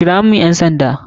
Kira ƴan sanda zaku kira mun..